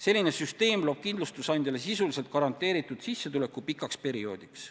Selline süsteem loob kindlustusandjale sisuliselt garanteeritud sissetuleku pikaks perioodiks.